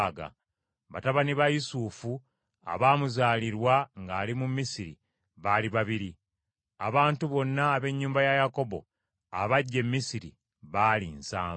Batabani ba Yusufu abaamuzaalirwa ng’ali mu Misiri baali babiri. Abantu bonna ab’ennyumba ya Yakobo abajja e Misiri baali nsanvu .